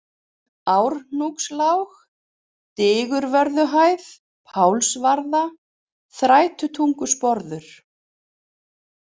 Árhnúkslág, Digruvörðuhæð, Pálsvarða, Þrætutungusporður